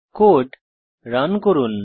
code run করুন